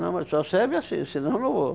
Não, mas só serve assim, senão eu não vou.